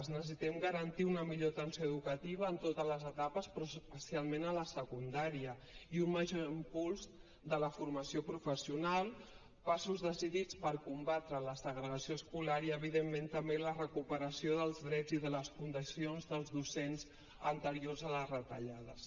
necessitem garantir una millor atenció educativa en totes les etapes però especialment a la secundària i un major impuls de la formació professional passos decidits per combatre la segregació escolar i evidentment també la recuperació dels drets i de les condicions dels docents anteriors a les retallades